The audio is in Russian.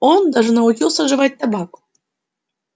он даже научился жевать табак